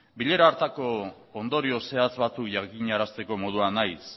bilera hartako ondorio zehatz batzuk jakinarazteko moduan naiz